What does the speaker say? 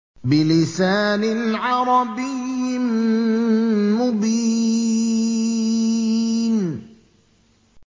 بِلِسَانٍ عَرَبِيٍّ مُّبِينٍ